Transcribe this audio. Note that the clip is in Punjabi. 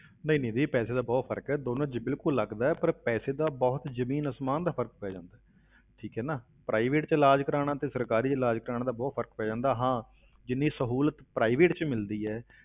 ਨਹੀਂ ਨਿੱਧੀ ਪੈਸੇ ਦਾ ਬਹੁਤ ਫ਼ਰਕ ਹੈ, ਦੋਨਾਂ ਵਿੱਚ ਬਿਲਕੁਲ ਲੱਗਦਾ ਹੈ, ਪਰ ਪੈਸੇ ਦਾ ਬਹੁਤ ਜ਼ਮੀਨ ਅਸਮਾਨ ਦਾ ਫ਼ਰਕ ਪੈ ਜਾਂਦਾ ਹੈ ਠੀਕ ਹੈ ਨਾ private ਵਿੱਚ ਇਲਾਜ਼ ਕਰਵਾਉਣਾ ਤੇ ਸਰਕਾਰੀ ਵਿੱਚ ਇਲਾਜ਼ ਕਰਵਾਉਣ ਦਾ ਬਹੁਤ ਫ਼ਰਕ ਪੈ ਜਾਂਦਾ, ਹਾਂ ਜਿੰਨੀ ਸਹੂਲਤ private ਵਿੱਚ ਮਿਲਦੀ ਹੈ,